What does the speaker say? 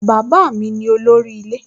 Bàbá ni olórí ilé